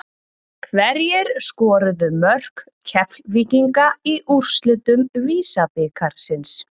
Hverjir skoruðu mörk Keflvíkinga í úrslitum VISA-bikarsins?